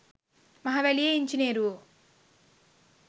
මහවැලියේ ඉංජිනේරුවො